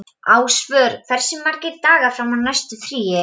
Ásvör, hversu margir dagar fram að næsta fríi?